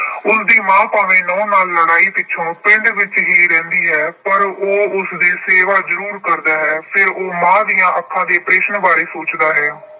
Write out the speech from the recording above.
ਉਸਦੀ ਮਾਂ ਭਾਵੇਂ ਨੂੰਹ ਨਾਲ ਲੜਾਈ ਪਿੱਛੋਂ ਪਿੰਡ ਵਿੱਚ ਹੀ ਰਹਿੰਦੀ ਹੈ ਪਰ ਉਹ ਉਸਦੀ ਸੇਵਾ ਜਰੂਰ ਕਰਦਾ ਹੈ। ਫਿਰ ਉਹ ਮਾਂ ਦੀਆਂ ਅੱਖਾਂ ਦੇ operation ਬਾਰੇ ਸੋਚਦਾ ਹੈ।